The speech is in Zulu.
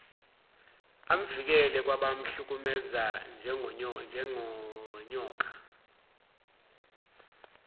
amvikele kwabamhlukumeza njengonyoka